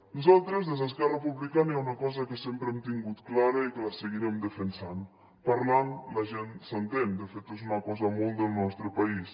nosaltres des d’esquerra republicana hi ha una cosa que sempre hem tingut clara i que la seguirem defensant parlant la gent s’entén de fet és una cosa molt del nostre país